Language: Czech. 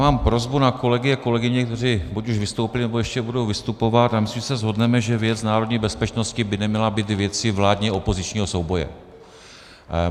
Mám prosbu na kolegy a kolegyně, kteří buď už vystoupili, nebo ještě budou vystupovat, ale myslím, že se shodneme, že věc národní bezpečnosti by neměla být věcí vládně-opozičního souboje.